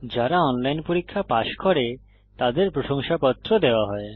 যারা অনলাইন পরীক্ষা পাস করে তাদের প্রশংসাপত্র দেওয়া হয়